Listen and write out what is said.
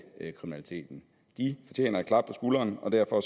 fortjener et klap på skulderen og derfor